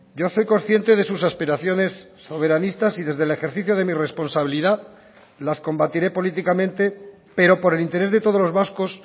yo soy consciente de sus aspiraciones soberanistas y desde el ejercicio de mi responsabilidad las combatiré políticamente pero por el interés de todos los vascos